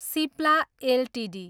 Cipla Ltd